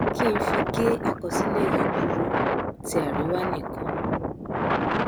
kí ng fi gé àkọsílẹ yìí kúrú ti àríwá nìkan